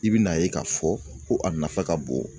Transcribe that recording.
I bi n'a ye k'a fɔ ko a nafa ka bon